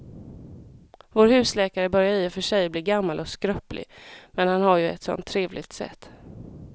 Vår husläkare börjar i och för sig bli gammal och skröplig, men han har ju ett sådant trevligt sätt!